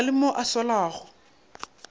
na le mo a solago